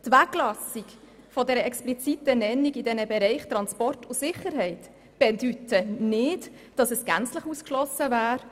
Die Weglassung der expliziten Nennung in den Bereichen Transport und Sicherheit bedeutet nicht, dass es gänzlich ausgeschlossen wäre.